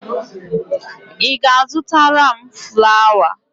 Ị ga-azụtara m flawa?